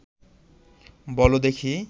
বল দেখি